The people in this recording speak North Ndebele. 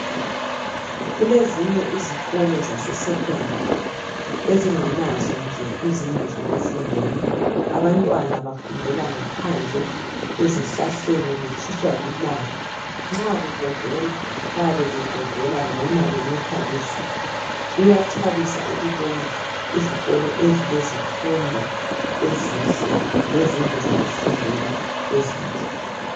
Kulezinye izikolo zase secondary ezinganazo nje izindlu zokufundela, abantwana bafundela ngaphandle, ezihlahleni betshiswa lilanga, nxa kugodola bayabebegodola noma benethwa lizulu, kuyathabisa ukubona izikolo ezileifundo ezinhle lezindlu zokufundela ezinhle.